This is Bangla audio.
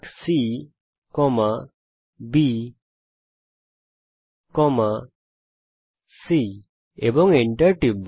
সুতরাং আমরা এখানে কমান্ড লিখব ArccBc এবং enter টিপব